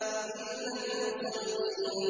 إِلَّا الْمُصَلِّينَ